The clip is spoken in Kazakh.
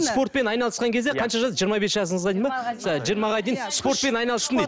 спортпен айналысқан кезде қанша жас жиырма бес жасыңызға дейін бе жиырмаға дейін спортпен айналыстым дейді